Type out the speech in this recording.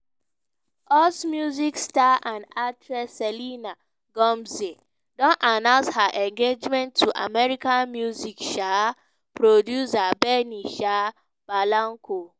us music star and actress selena gomez don announce her engagement to american music um producer benny um blanco.